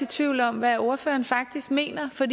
tvivl om hvad ordføreren faktisk mener for